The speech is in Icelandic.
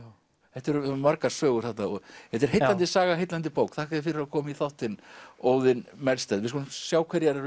þetta eru margar sögur þarna þetta er heillandi saga og heillandi bók þakka þér fyrir að koma í þáttinn Óðinn Melsted við skulum sjá hverjar eru